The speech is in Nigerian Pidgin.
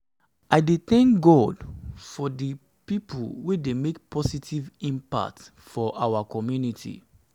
i dey thank god for dey people wey dey make positive impact in our community.